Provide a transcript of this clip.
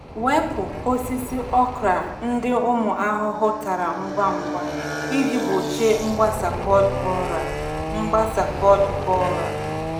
Wepu osisi okra ndị ụmụ ahụhụ tara ngwa ngwa iji gbochie mgbasa pod borer. mgbasa pod borer.